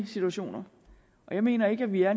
situationer og jeg mener ikke at vi er